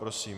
Prosím.